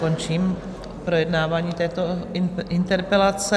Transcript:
Končím projednávání této interpelace.